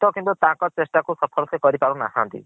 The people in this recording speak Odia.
ତ ତାଙ୍କ ଚେଷ୍ଟାକୁ ସଫଳ ସେ କରି ପାରୁନାହାନ୍ତି।